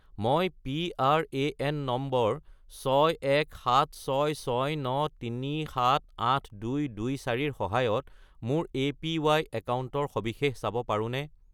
মই PRAN number 617669378224 -ৰ সহায়ত মোৰ এপিৱাই একাউণ্টৰ সবিশেষ চাব পাৰোঁনে?